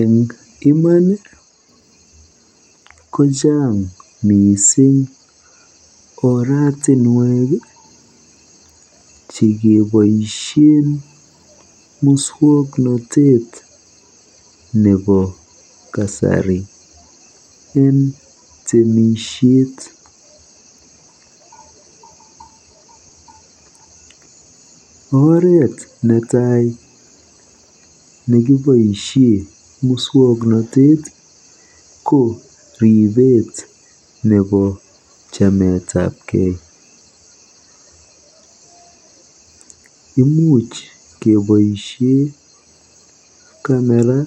Eng imaan kochang mising oratinwek chekeboisie muswoknatet nebo kasari eng temisiet. Oret netai neimuch keboisie muswoknatet ko ribet nebo chametapkei. Imuch keboisie kamera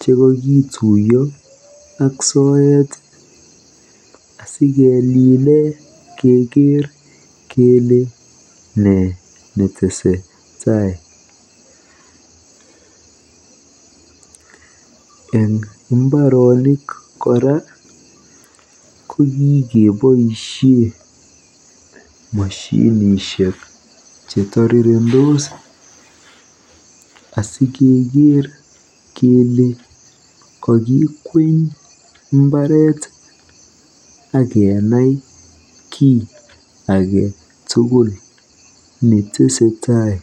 chekakituiyo ak soet asikelile keker kele ne netesetai. Eng mbaronik kora ko kikeboisie moshinishek chetorirendos asikeker kele kakikweny mbareet akenai kiy age tugul netesetai.